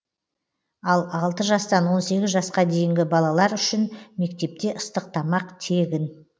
ал алты жастан он сегіз жасқа дейінгі балалар үшін мектепте ыстық тамақ тегін